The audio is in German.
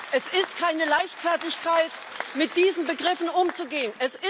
Es ist keine Leichtfertigkeit, mit diesen Begriffen umzugehen.